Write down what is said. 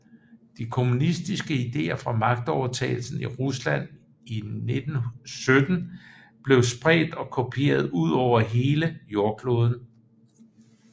De kommunistiske idéer fra magtovertagelsen i Rusland 1917 blev spredt og kopieret ud over hele jordkloden